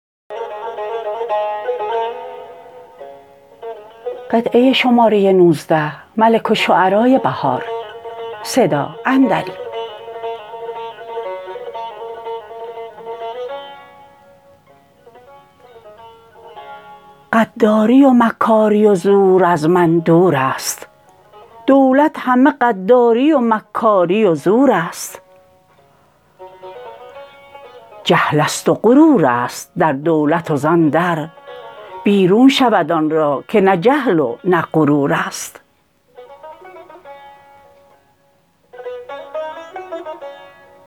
غداری و مکاری و زور از من دور است دولت همه غداری و مکاری و زور است جهل است و غرور است در دولت و زان در بیرون شود آن را که نه جهل و نه غرور است